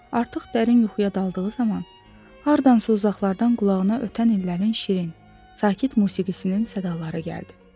Artıq dərin yuxuya daldığı zaman hardansa uzaqlardan qulağına ötən illərin şirin, sakit musiqisinin sədaları gəldi.